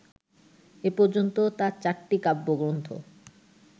এ পর্যন্ত তার চারটি কাব্যগ্রন্থ